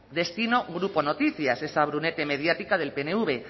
destino grupo noticias esa brunete mediática del pnv